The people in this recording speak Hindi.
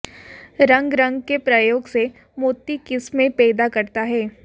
रंग रंग के प्रयोग से मोती किस्में पैदा करता है